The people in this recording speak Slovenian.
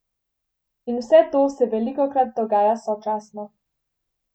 In vse to se velikokrat dogaja sočasno.